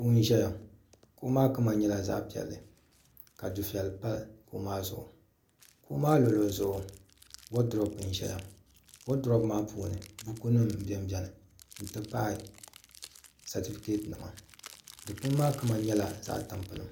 kuɣu n ʒɛya kuɣu maa kama nyɛla zaɣ piɛlli ka dufɛli pa kuɣu maa zuɣu kuɣu maa luɣuli zuɣu woodurop n ʒɛya woodurop maa puuni buku nim biɛni biɛni n ti pahi sɛntifikɛt nima dikpuni maa kama nyɛla zaɣ tampilim